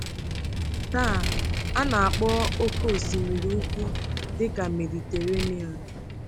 Taa, a na-akpọ Oké Osimiri Ukwu dị ka Mediterenian.